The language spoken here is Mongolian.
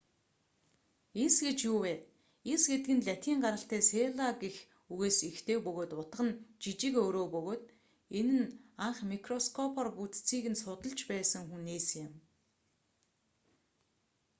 эс гэж юу вэ эс гэдэг үг нь латин гаралтай селла гэх үгээс эхтэй бөгөөд утга нь жижиг өрөө бөгөөд энэ нь анх микроскопоор бүтцийг нь судлаж байсан хүн нээсэн юм